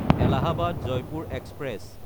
Allahabad-Jaipur express